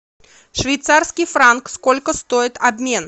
швейцарский франк сколько стоит обмен